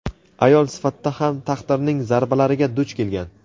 ayol sifatida ham taqdirning zarbalariga duch kelgan.